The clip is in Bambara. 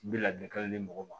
N bɛ ladilikan di mɔgɔw ma